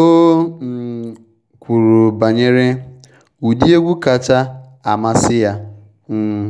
O um kwuru banyere ụdị egwu kacha amasị ya um